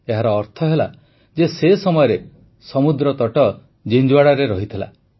ଏହାର ଅର୍ଥ ହେଲା ଯେ ସେ ସମୟରେ ସମୁଦ୍ରତଟ ଜିଂଜୁୱାଡ଼ାରେ ଥିଲା